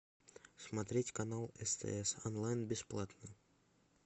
смотреть канал стс онлайн бесплатно